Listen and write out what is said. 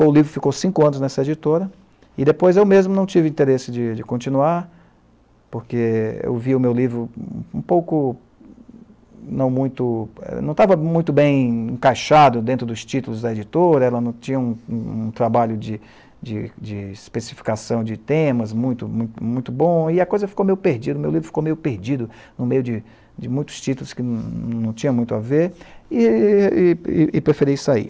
O livro ficou cinco anos nessa editora, e depois eu mesmo não tive interesse de de continuar, porque eu vi o meu livro um pouco... Não muito, não estava muito bem encaixado dentro dos títulos da editora, ela não tinha um um um trabalho de de de especificação de temas muito muito bom, e a coisa ficou meio perdida, o meu livro ficou meio perdido no meio de de muitos títulos que não tinham muito a ver, e e e epreferi sair.